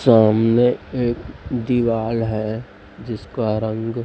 सामने एक दिवाल है जिसका रंग--